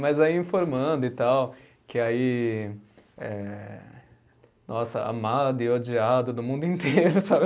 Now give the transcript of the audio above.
Mas aí informando e tal, que aí, eh, nossa, amado e odiado do mundo inteiro, sabe?